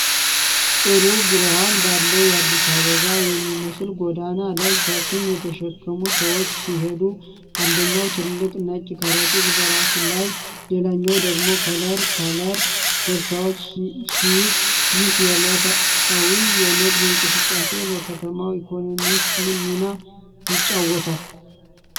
ጥሩ ብርሃን ባለው የአዲስ አበባ የሚመስል ጎዳና ላይ፣ ሸክም የተሸከሙ ሰዎች ሲሄዱ፣ አንደኛው ትልቅ ነጭ ከረጢት በራሱ ላይ፣ ሌላኛው ደግሞ ከለር ከለር ቦርሳዎችን ሲይዝ፣ ይህ የዕለታዊ የንግድ እንቅስቃሴ በከተማው ኢኮኖሚ ውስጥ ምን ሚና ይጫወታል?